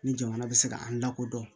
Ni jamana bɛ se ka an lakodɔn